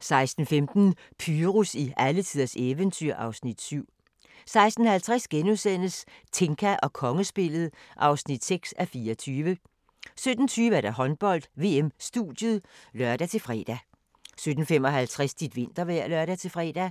16:15: Pyrus i alletiders eventyr (Afs. 7) 16:50: Tinka og kongespillet (6:24)* 17:20: Håndbold: VM-studiet (lør-fre) 17:55: Dit vintervejr (lør-fre) 18:00: